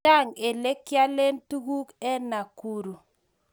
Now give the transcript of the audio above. Chang ele kiyaklen tukul en Nakuru